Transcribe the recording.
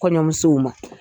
Kɔɲɔmuso ma